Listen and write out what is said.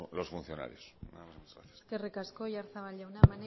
los funcionarios nada más muchas gracias eskerrik asko oyarzabal jauna